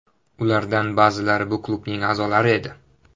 Ulardan ba’zilari bu klubning a’zolari edi.